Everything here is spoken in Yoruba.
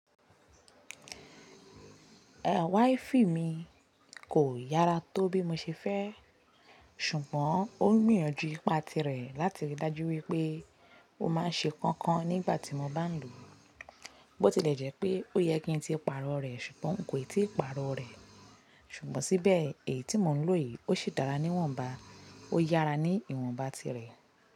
Ehn, wáìfì mi kò yára tó bí mo ṣe fẹ́, ṣùgbọ́n ó ń gbìyànjú ipá tirẹ̀ láti rí i dájú wípé ó máa ń ṣe kankan nígbà tí mo bá ń lò ó. Bó ti lẹ́jẹ̀ pé ó yẹ kí n tí ì pàrọ̀ rẹ̀, ṣùgbọ́n nkò ì tí ì pàrọ̀ rẹ̀. Ṣùgbọ́n síbẹ̀ èyí tí mò ń lò yìí, ó ṣi dára ní ìwọ̀nba, ó yára ní ìwọ̀nba tirẹ̀